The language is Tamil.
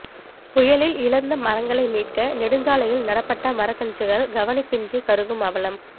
புயலில் இழந்த மரங்களை மீட்க நெடுஞ்சாலையில் நடப்பட்ட மரக்கன்றுகள் கவனிப்பின்றி கருகும் அவலம்